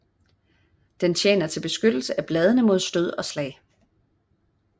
Den tjener til beskyttelse af bladene mod stød og slag